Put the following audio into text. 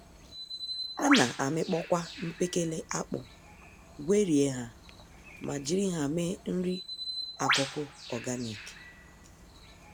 Ana amịkpọkwa mkpekele akpụ, gwerie ha, ma jiri ha mee nri-akụkụ ọganik